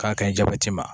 K'a ka ɲi jabɛti ma